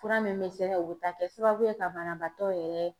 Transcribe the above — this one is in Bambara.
Fura min be sɛbɛn o be taa kɛ sababu ye ka banabaatɔ yɛrɛ